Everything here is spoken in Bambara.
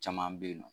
Caman bɛ yen nɔ